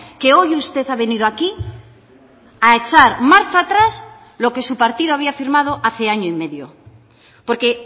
que hoy usted ha venido aquí a echar marcha atrás lo que su partido había firmado hace año y medio porque